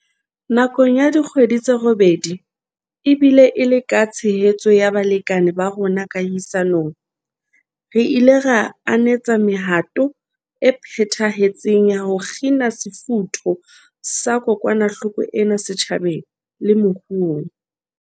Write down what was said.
Nakong ya dikgwedi tse robedi, ebile e le ka tshehetso ya balekane ba rona kahisa nong, re ile ra anetsa mehato e phethahetseng ya ho kgina sefutho sa kokwanahloko ena setjhabeng le moruong.